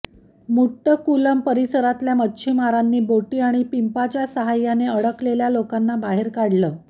मुट्टकुलम परिसरातल्या मच्छिमारांनी बोटी आणि पिंपांच्या साह्याने अडकलेल्या लोकांना बाहेर काढलं